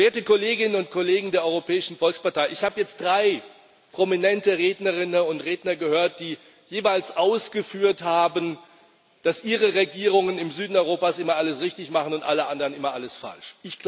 Werte Kolleginnen und Kollegen der Europäischen Volkspartei, ich habe jetzt drei prominente Rednerinnen und Redner gehört, die jeweils ausgeführt haben, dass Ihre Regierungen im Süden Europas immer alles richtig machen und alle anderen immer alles falsch.